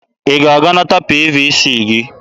Ị ga-aga nata PVC gị!